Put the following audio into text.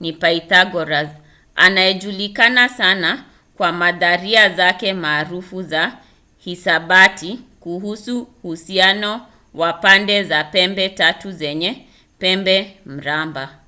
ni pythagoras anayejulikana sana kwa nadharia zake maarufu za hisabati kuhusu uhusiano wa pande za pembe tatu zenye pembemraba